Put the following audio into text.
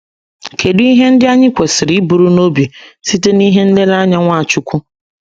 Kedụ ihe ndị anyị kwesịrị iburu n’obi site n’ihe nlereanya Nwachukwu?